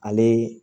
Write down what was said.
Ale